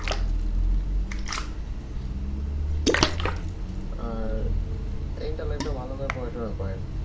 আর inter life টা ভালো করে পড়াশোনা করেন